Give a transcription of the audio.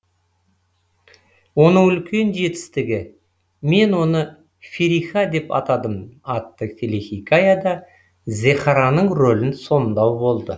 оның үлкен жетістігі мен оны фериха деп атадым атты телехикаяда зехраның рөлін сомдау болды